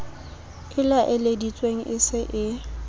e laeleditsweng e se e